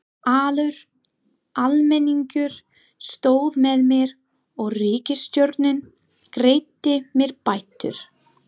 Allur almenningur stóð með mér og ríkisstjórnin greiddi mér bætur.